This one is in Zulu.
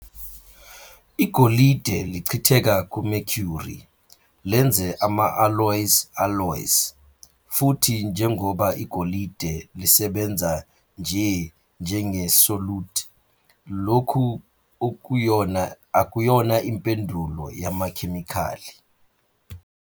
Igolide lichitheka ku-mercury, lenze ama-alloys alloys, futhi njengoba igolide lisebenza nje njenge-solute lokhu akuyona impendulo yamakhemikhali.